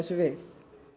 við